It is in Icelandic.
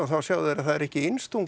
sjá að það er ekki